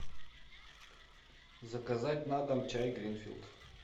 заказать на дом чай гринфилд